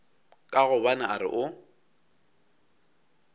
ka gobane a re o